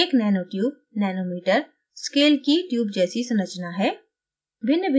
एक nanotubenanometerscale की tube जैसी संरचना है